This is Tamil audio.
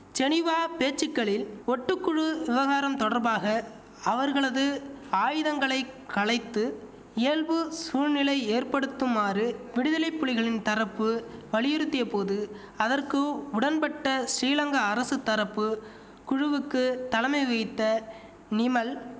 ஜெனிவா பேச்சுக்களில் ஒட்டுக்குழு விவகாரம் தொடர்பாக அவர்களது ஆயுதங்களை களைத்து இயல்பு சூழ்நிலை ஏற்படுத்துமாறு விடுதலைப்புலிகளின் தரப்பு வலியுறுத்திய போது அதற்கு உடன்பட்ட சிறிலங்கா அரசு தரப்பு குழுவுக்கு தலைமைவகித்த நிமல்